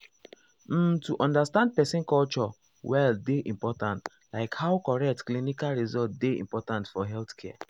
um to understand person culture well dey important like how correct clinical result dey important for healthcare.